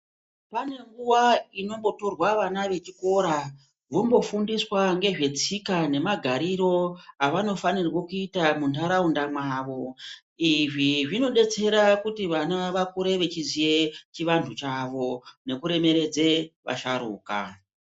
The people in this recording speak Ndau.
Pane nguva inomboturwa vana vechikora, vombofundiswa ngezvetsika nemagariro avanofanirwe kuita muntaraunda mwavo. Izvi zvinodetsere kuti vana vakure vechiziye chiantu chavo pamwe nekuremeredze asharuka.